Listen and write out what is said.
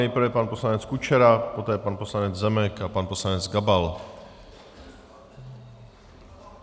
Nejprve pan poslanec Kučera, poté pan poslanec Zemek a pan poslanec Gabal.